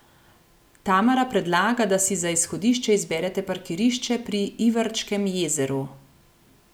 Tamara predlaga, da si za izhodišče izberete parkirišče pri Ivarčkem jezeru.